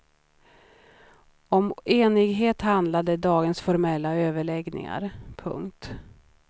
Om enighet handlade dagens formella överläggningar. punkt